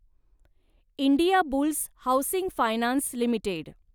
Indiabulls housing finance limited